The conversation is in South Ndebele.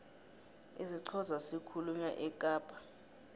isixhosa sikhulunywa ekapa